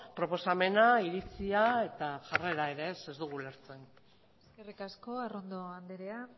proposamena iritzia eta jarrera ere ez ez dugu ulertzen eskerrik asko arrondo andrea